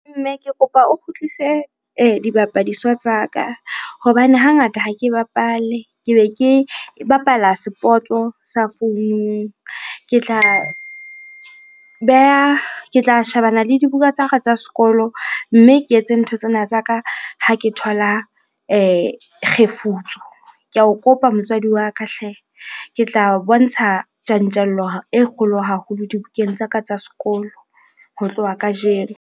Mme, ke kopa o kgutlise dibapadiswa tsa ka hobane hangata ha ke bapale, ke be ke bapala sport-o sa founung. Ke tla beha, ke tla shebana le dibuka tsa ka tsa sekolo mme ke etse ntho tsena tsa ka ha ke thola kgefutso. Ke ao kopa motswadi wa ka hle! Ke tla obontsha tjantjelo e kgolo haholo dibukeng tsa ka tsa sekolo ho tloha kajeno.